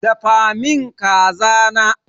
Dafa min kaza na!